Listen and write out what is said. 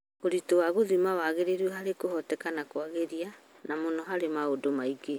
ũritũ wa gũthima wagĩrĩru harĩ kuĩhoteka na kũagĩria, na mũno harĩ maũndũ maingĩ.